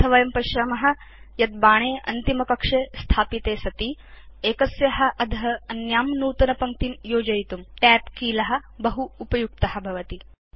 अथ वयं पश्याम यत् बाणे अन्तिमकक्षे स्थापिते सति एकस्या अध अन्यां नूतनपङ्क्तिं योजयितुं Tab कील बहु उपयुक्त भवति